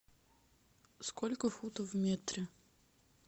сколько футов в метре